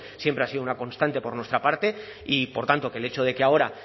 siempre ha sido una constante por nuestra parte y por tanto que el hecho de que ahora